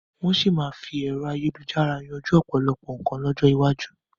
Wọn sì máa fi ẹ̀rọ ayélujára yanjú ọ̀pọ̀lọpọ̀ nkan lọ́jọ́ iwájú